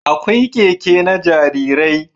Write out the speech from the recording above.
Akwai Keke na jarirai